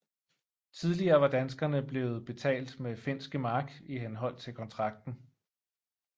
Tidligere var danskerne blevet betalt med finske mark i henhold til kontrakten